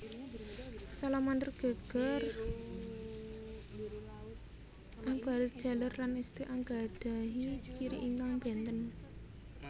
Salamander geger abarit jaler lan èstri anggadhahi ciri ingkang bènten